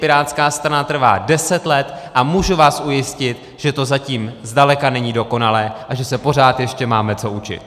Pirátská strana trvá deset let a můžu vás ujistit, že to zatím zdaleka není dokonalé a že se pořád ještě máme co učit.